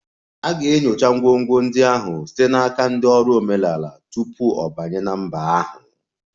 A ga-enyocha ngwongwo ndị ahụ site n'aka ndị ọrụ omenala tupu ọ banye na mba ahụ